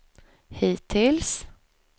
hittills